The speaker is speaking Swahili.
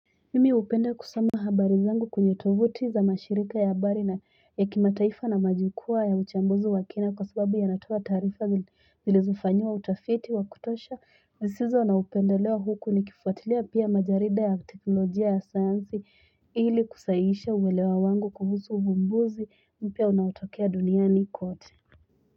Mimi upenda kusoma habari zangu kwenye tovuti za mashirika ya habari na ya kimataifa na majukwaa ya uchambuzi wa kina kwa sababu ya natoa taarifa zilizofanyiwa utafiti wa kutosha zisizo na upendeleo huku ni kifuatilia pia majarida ya teknolojia ya sayanzi hili kusaiisha uwelewa wangu kuhusu uvumbuzi mpya unaotokea duniani kote.